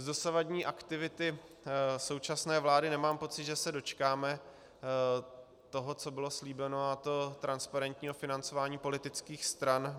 Z dosavadní aktivity současné vlády nemám pocit, že se dočkáme toho, co bylo slíbeno, a to transparentního financování politických stran.